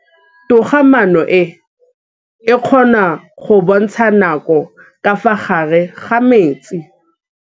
Toga-maanô e, e kgona go bontsha nakô ka fa gare ga metsi.